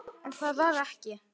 En það varð ekki.